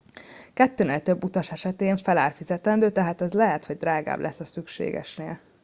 kettőnél több utas esetén felár fizetendő tehát ez lehet hogy drágább lesz a szükségesnél